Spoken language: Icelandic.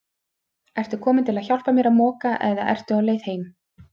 Ertu kominn til að hjálpa mér að moka eða ertu á leið heim?